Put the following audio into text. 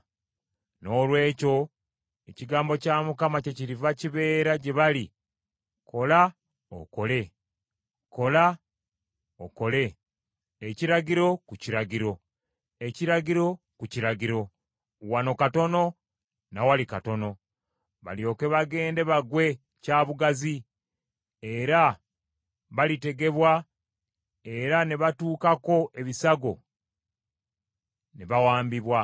Noolwekyo ekigambo kya Mukama kyekiriva kibeera gye bali kola okole, kola okole, ekiragiro ku kiragiro, ekiragiro ku kiragiro, wano katono na wali katono, balyoke bagende bagwe kya bugazi, era balitegebwa, era ne batuukako ebisago ne bawambibwa.